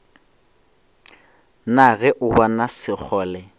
na ge o bona sekgole